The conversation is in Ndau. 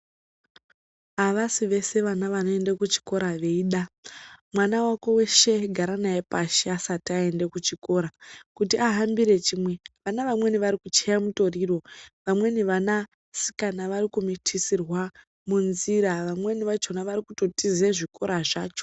Avasi vese vana vanoende kuchikora veida mwana wako weshe gara naye pashi asati aenda kuchikora kuti ahambire chimwe vana vamweni vari kuchaye mutoriro vamweni vanasikana vari kumitisirwa munzira vamweni vakoma vari kutotiza zvikora zvacho.